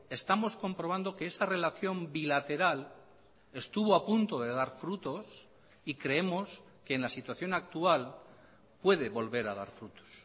estamos comprobando que esa relación bilateral estuvo apunto de dar frutos y creemos que en la situación actual puede volver a dar frutos